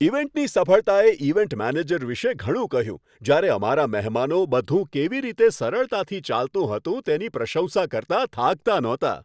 ઇવેન્ટની સફળતાએ event manager વિશે ઘણું કહ્યું જ્યારે અમારા મહેમાનો બધું કેવી રીતે સરળતાથી ચાલતું હતું તેની પ્રશંસા કરતાં થાકતાં નહોતાં.